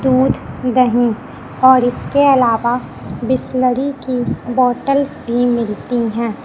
दूध दहीं और इसके अलावा बिसलेरी की बॉटल्स भी मिलती हैं।